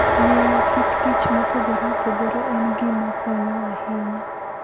Ng'eyo kit kich mopogore opogore en gima konyo ahinya.